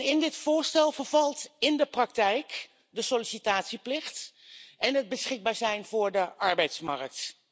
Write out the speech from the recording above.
In dit voorstel vervalt in de praktijk de sollicitatieplicht en het beschikbaar zijn voor de arbeidsmarkt.